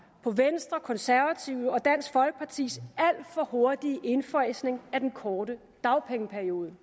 på venstres konservatives og dansk folkepartis alt for hurtige indfasning af den korte dagpengeperiode